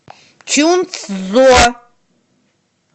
чунцзо